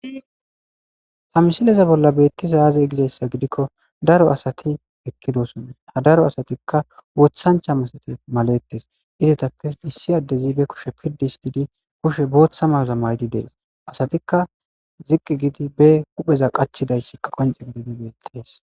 Ha misiliya bolla betizayi aze giko asati eqidosona ha daro asatika wothancha malaletes izappe issi adezi be kushe dhuqu histidi botha mayo mayidi detes asatika ziqi gidi be hupheza qachidaysa